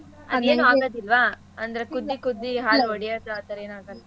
ಅದೇನು ಆಗದಿಲ್ವಾ ಅಂದ್ರೆ ಕುದ್ದಿ ಕುದ್ದಿ ಹಾಲ್ ಒಡಿಯದು ಆಥರ ಎನ್ ಆಗದಿಲ್ವಾ.